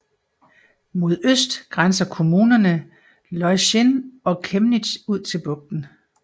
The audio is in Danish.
Mod øst grænser kommunerne Loissin og Kemnitz ud til bugten